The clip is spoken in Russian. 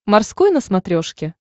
морской на смотрешке